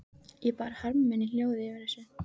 Ég bar harm minn í hljóði yfir þessu.